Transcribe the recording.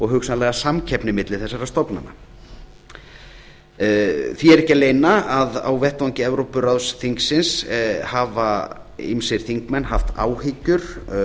hugsanlega samkeppni milli þessara stofnana því er ekki að leyna að á vettvangi evrópuráðsþingsins hafa ýmsir þingmenn haft áhyggjur